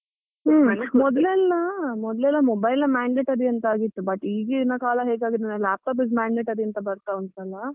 ಉಮ್ ಮೊದ್ಲೆಲ್ಲಾ ಮೊದ್ಲೆಲ್ಲಾ mobile mandatory ಅಂತ ಆಗಿತ್ತು, but ಈಗಿನ ಕಾಲ ಹೇಗಾಗಿದೆ ಅಂದ್ರೆ laptop is mandatory ಅಂತ ಬರ್ತಾ ಉಂಟು ಅಲ್ಲ.